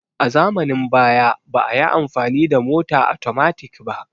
A zamanin baya ba'ayi amfani da mota atomatik ba